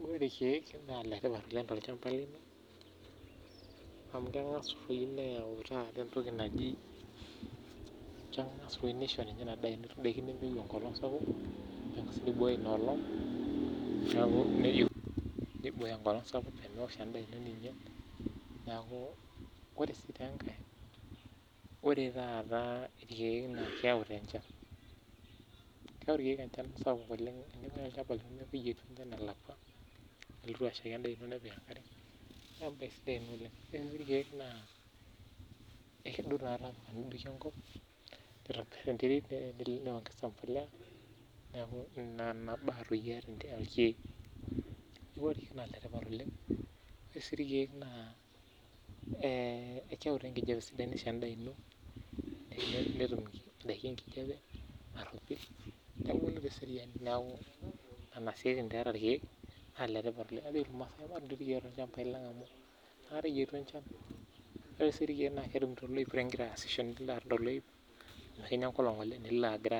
Ore ilkiek naa iletipat oleng tolchamba lino amu amu kengas aayau entoki naji naa kibooyo enkolong' sapuk peemewosh endaa ino neaku ore sii enkae naa ore ilkiek naa keyau enchan sapuk oleng Nelotu asheiki endaa ino nepik enkare niaku entoki sidai oleng Ore ilkiek naa ekedou engop nitobirh enterit neponaa imbolea ore ilkiek naa iletipat oleng naa kewutu endaa sidai nisho indaiki enkijape narhopil nebulu teseriani niaku nena siatin taa eeta ilkiek naa iletipat oleng Maatuun ilkiek amu inakata eyietu enchan naa ilo aton toloip igira aasisho tenetii enkolong oleng nilo ato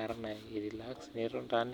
airelax